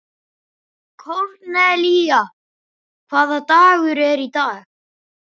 Kornelía, hvaða dagur er í dag?